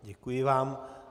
Děkuji vám.